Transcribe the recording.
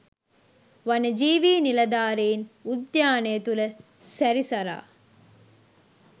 වනජීවී නිලධාරීන් උද්‍යානය තුළ සැරිසරා